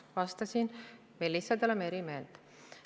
Ma vastasin, me lihtsalt oleme eri meelt.